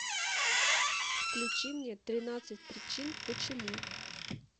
включи мне тринадцать причин почему